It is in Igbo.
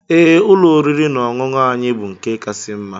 Ee, ụlọ oriri na ọṅụṅụ anyị bu nke kasị mma.